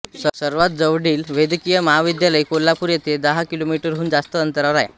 सर्वात जवळील वैद्यकीय महाविद्यालय कोल्हापूर येथे दहा किलोमीटरहून जास्त अंतरावर आहे